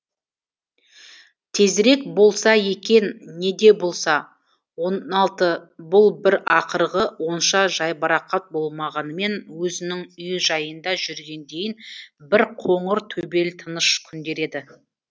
тезірек болса екен неде болса он алты бұл бір ақырғы онша жайбарақат болмағанымен өзінің үй жайында жүргендейін бір қоңыр төбел тыныш күндер еді